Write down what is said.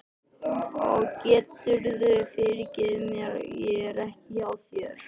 Og geturðu fyrirgefið mér að ég er ekki hjá þér?